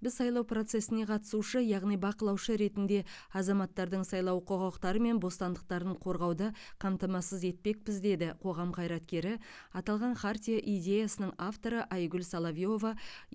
біз сайлау процесіне қатысушы яғни бақылаушы ретінде азаматтардың сайлау құқықтары мен бостандықтарын қорғауды қамтамасыз етпекпіз деді қоғам қайраткері аталған хартия идеясының авторы айгүл соловьева